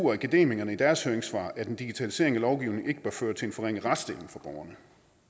og akademikerne i deres høringssvar at en digitalisering af lovgivningen ikke bør føre til en forringet retsstilling for borgerne